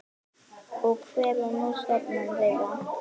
Og hver er nú stefna þeirra?